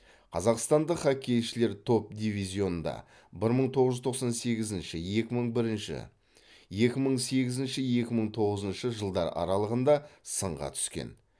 қазақстандық хоккейшілер топ дивизионда бір мың тоғыз жүз тоқсан сегізінші екі мың бірінші екі мың сегізінші екі мың тоғызыншы жылдар аралығында сынға түскен